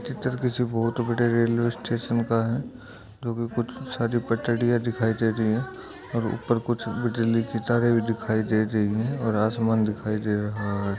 चित्र किसी बहोत बड़े रेलवे स्टेशन का है जोकि कुछ सारी पटरी सारी पटरियां दिखाई दे रही हैं और ऊपर कुछ बिजली की तारे भी दिखाई दे रही हैं और आसमान दिखाई दे रहा है।